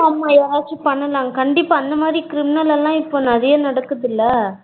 ஆமா ஆமா யாராச்சும் பண்ணலாம் கண்டிப்பா அந்த மாறி criminal எல்லாம் நெறையா நடக்குதுல்லா